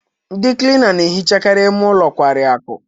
Ndị Klina na-ehichakarị ime ụlọ nkwari akụ.